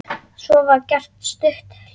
Svo var gert stutt hlé.